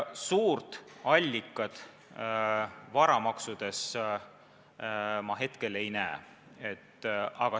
Suurt allikat varamaksudes ma ei näe.